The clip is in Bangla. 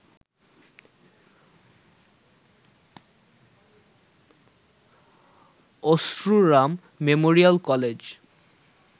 Achhruram memorial college